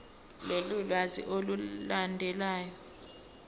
lolu lwazi olulandelayo